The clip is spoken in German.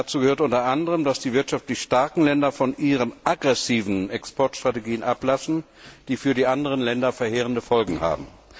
Dazu gehört unter anderem, dass die wirtschaftlich starken Länder von ihren aggressiven Exportstrategien ablassen, die für die anderen Länder verheerende Folgen haben.